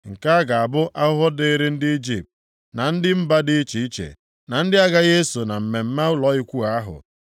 Nke a ga-abụ ahụhụ dịrị ndị Ijipt, na ndị mba dị iche iche, ndị na-agaghị eso na mmemme ụlọ Ikwu ahụ.